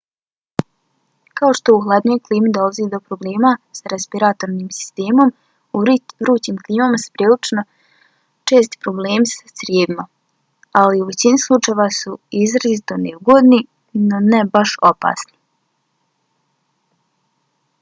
kao što u hladnijoj klimi dolazi do problema sa respiratornim sistemom u vrućim klimama su prilično česti problemi sa crijevima ali u većini slučajeva su izrazito neugodni no ne baš opasni